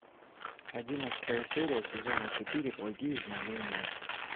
одиннадцатая серия сезона четыре благие знамения